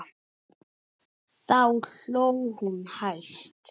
Þá hló hún hæst.